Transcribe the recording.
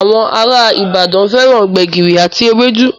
Àwọn ará Ìbàdàn fẹ́ran gbẹ̀gìrì àti ewédú